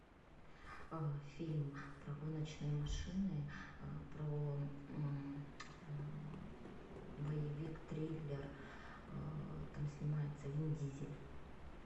фильм про гоночные машины про боевик триллер там снимается вин дизель